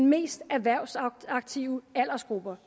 mest erhvervsaktive aldersgrupper